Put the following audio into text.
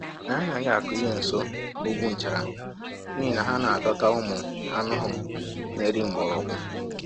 Anyị anaghị akụ ihe nso ugwu nchara n’ihi na ha na-adọta ụmụ anụhụ na-eri mgbọrọgwụ.